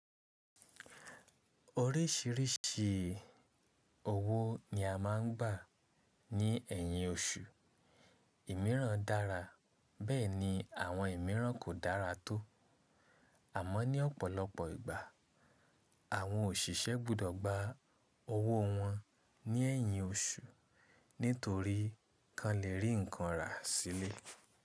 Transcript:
Orísìírísìí owó ni a má ń gbà ní ẹ̀yìn oṣù. Ìmíràn dára, bẹ́ẹ̀ ni àwọn ìmíràn kò dára tó. Àmọ́ ní ọ̀pọ̀lọpọ̀ ìgbà, àwọn òṣìṣẹ́ gbọ́dọ̀ gba owó wọn ní ẹ̀yìn oṣù nítorí kan lè rí nǹkan rà sílẹ̀.